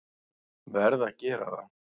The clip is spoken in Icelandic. Verð að gera það.